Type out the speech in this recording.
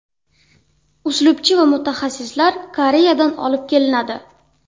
Uslubchi va mutaxassislar Koreyadan olib kelinadi.